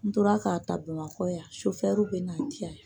N tora k'a ta Bamakɔ yan bɛ n'a di yan.